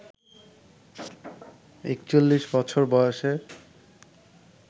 ৪১ বছর বয়সে